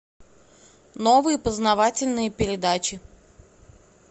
новые познавательные передачи